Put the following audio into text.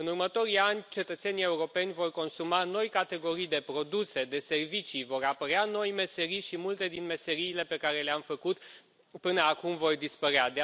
În următorii ani, cetățenii europeni vor consuma noi categorii de produse, de servicii, vor apărea noi meserii și multe din meseriile pe care le am făcut până acum vor dispărea.